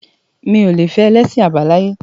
Mi ò le fẹ́ ẹlẹ́sìn àbáláyé.